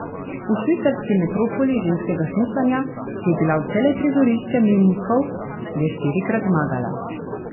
V švicarski metropoli ženskega smučanja, ki je bila vselej prizorišče mejnikov, je štirikrat zmagala.